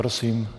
Prosím.